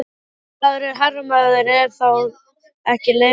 Ef maður er herramaður, er þetta þá ekki leyfilegt?